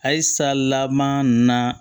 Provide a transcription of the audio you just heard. Halisa laban ninnu na